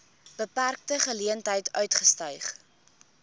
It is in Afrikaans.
beperkte geleenthede uitgestyg